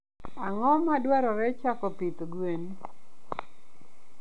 ang'o madwarore chako pith gwen?